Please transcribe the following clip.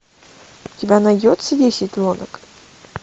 у тебя найдется десять лодок